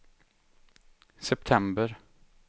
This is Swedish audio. september